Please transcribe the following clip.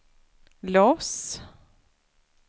Los